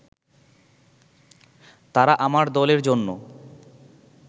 তারা আমার দলের জন্য